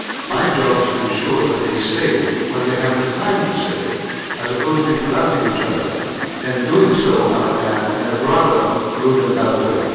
My job is to ensure that they say it when they have the time to say it, as opposed to interrupting each other and doing so, I might add, in a rather rude and loud way.